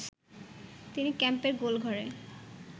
তিনি ক্যাম্পের গোল ঘরে